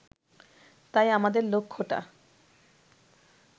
তাই আমাদের লক্ষ্যটা